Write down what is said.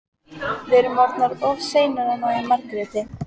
Við erum orðnar of seinar að ná í Margréti.